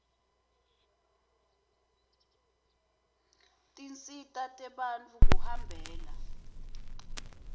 tinsita tebantfu kuhambela